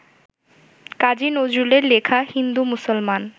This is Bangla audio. কাজী নজরুলের লেখা হিন্দু-মুসলমান